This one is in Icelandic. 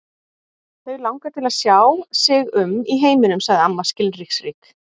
Þau langar til að sjá sig um í heiminum sagði amma skilningsrík.